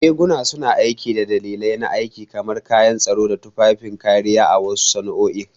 Riguna suna aiki da dalilai na aiki, kamar kayan tsaro ko tufafin kariya a wasu sana'o'i.